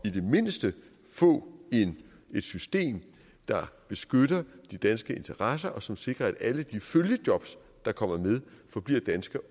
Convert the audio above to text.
i det mindste at få et system der beskytter de danske interesser og som sikrer at alle de følgejob der kommer med forbliver danske